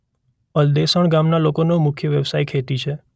અલદેસણ ગામના લોકોનો મુખ્ય વ્યવસાય ખેતી છે.